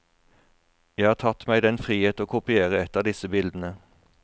Jeg har tatt meg den frihet å kopiere ett av disse bildene.